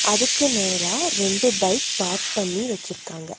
அதுக்கு நேரா ரெண்டு பைக் பார்க் பண்ணி வச்சுருக்காங்க.